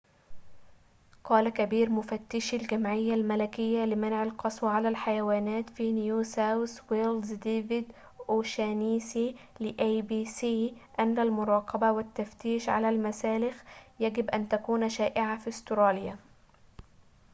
قال كبير مفتشي الجمعية الملكية لمنع القسوة على الحيوانات في نيو ساوث ويلز ديفيد أوشانيسي لـabc أن المراقبة والتفتيش على المسالخ يجب أن تكون شائعة في أستراليا